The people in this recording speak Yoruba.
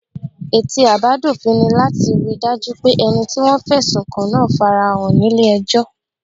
Ète àbádòfin ni láti rí i dájú pé ẹni tí wọ́n fẹ̀sùn kàn náà fara hàn ní ilé ẹjọ́